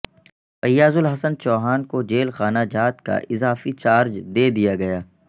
فیاض الحسن چوہان کو جیل خانہ جات کا اضافی چارج دے دیا گیا